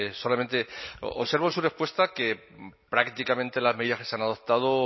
solamente observo en su respuesta que prácticamente las medias que se han adoptado